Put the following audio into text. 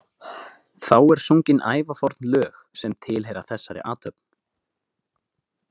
Þá er sungin ævaforn lög, sem tilheyra þessari athöfn.